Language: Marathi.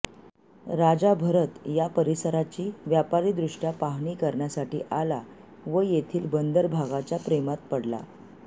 राजा भरत या परिसराची व्यापारीदृष्टया पाहणी करण्यासाठी आला व येथील बंदर भागाच्या प्रेमात पडला